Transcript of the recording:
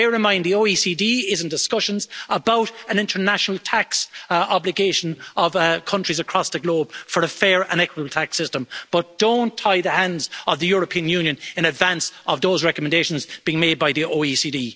Bear in mind that the OECD is in discussions about an international tax obligation of countries across the globe for a fair and equitable tax system, but don't tie the hands of the European Union in advance of those recommendations being made by the OECD.